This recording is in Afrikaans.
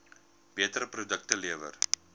beter produkte lewer